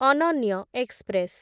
ଅନନ୍ୟ ଏକ୍ସପ୍ରେସ